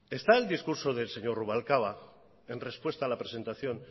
está el discurso del señor rubalcaba en respuesta a la presentación